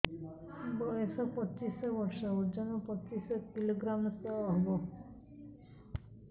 ବୟସ ପଚିଶ ବର୍ଷ ଓଜନ ପଚିଶ କିଲୋଗ୍ରାମସ ହବ